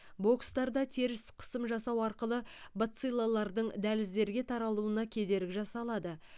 бокстарда теріс қысым жасау арқылы бациллалардың дәліздерге таралуына кедергі жасалады